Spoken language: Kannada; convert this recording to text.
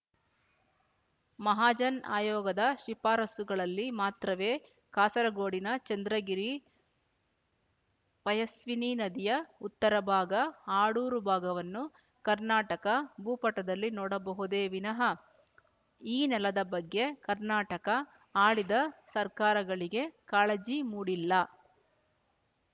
ಮಹಾಜನ್ ಆಯೋಗದ ಶಿಫಾರಸ್ಸುಗಳಲ್ಲಿ ಮಾತ್ರವೆ ಕಾಸರಗೋಡಿನ ಚಂದ್ರಗಿರಿಪಯಸ್ವಿನಿ ನದಿಯ ಉತ್ತರ ಭಾಗ ಅಡೂರು ಭಾಗವನ್ನು ಕರ್ನಾಟಕ ಭೂಪಟದಲ್ಲಿ ನೋಡಬಹುದೇ ವಿನ ಈ ನೆಲದ ಬಗ್ಗೆ ಕರ್ನಾಟಕ ಆಳಿದ ಸರಕಾರಗಳಿಗೆ ಕಾಳಜಿ ಮೂಡಿಲ್ಲ